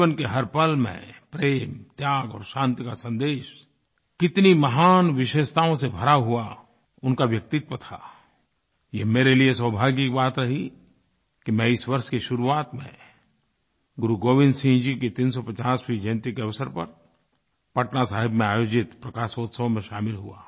जीवन के हरपल में प्रेम त्याग और शांति का सन्देश कितनी महान विशेषताओं से भरा हुआ उनका व्यक्तित्व था ये मेरे लिए सौभाग्य की बात रही कि मैं इस वर्ष की शुरुआत में गुरुगोविन्द सिंह जी 350वीं जयन्ती के अवसर पर पटनासाहिब में आयोजित प्रकाशोत्सव में शामिल हुआ